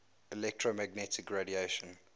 electromagnetic radiation